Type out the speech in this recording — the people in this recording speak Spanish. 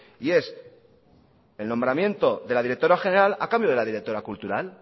y es el nombramiento de la directora general a cambio de la directora cultural